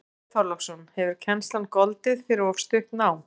Björn Þorláksson: Hefur kennslan goldið fyrir of stutt nám?